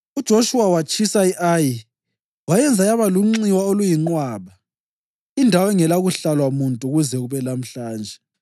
UJoshuwa watshisa i-Ayi wayenza yaba lunxiwa oluyinqwaba, indawo engelakuhlalwa muntu kuze kube lamhlanje.